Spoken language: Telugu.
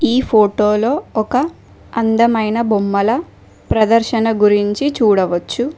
ఈ ఫోటోలో ఒక అందమైన బొమ్మల ప్రదర్శన గురించి చూడవచ్చు.